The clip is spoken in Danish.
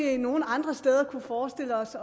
vi nogen andre steder kunne forestille os